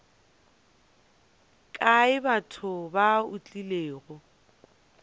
kae batho ba o tlilego